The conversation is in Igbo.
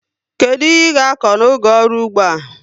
Kedu ihe i ga akọ n'oge ọrụ ụgbọ a?